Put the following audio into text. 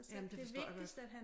Jamen det forstår jeg godt